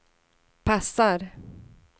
passar